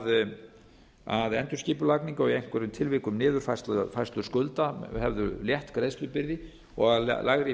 endurskipulagningu og í einhverjum tilvikum niðurfærslu skulda hefðu létt greiðslubyrði og að lægri